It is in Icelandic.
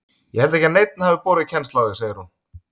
Ég held ekki að neinn hafi borið kennsl á þig segir hún.